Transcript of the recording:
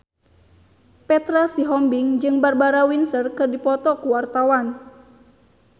Petra Sihombing jeung Barbara Windsor keur dipoto ku wartawan